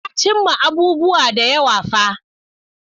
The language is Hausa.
Na cimma abubuwa da yawa fa.